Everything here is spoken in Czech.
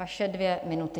Vaše dvě minuty.